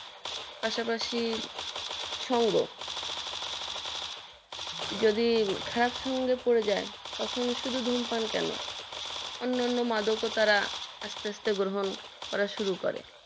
পাশাপাশি সংঘ যদি খারাপ সঙ্গে পড়ে যায় শুধু ধূমপান কেন অন্য অন্য মাদক ও তারা আসতে আসতে গ্রহন করতে শুরু করে